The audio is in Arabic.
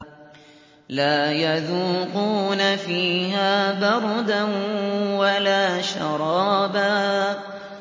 لَّا يَذُوقُونَ فِيهَا بَرْدًا وَلَا شَرَابًا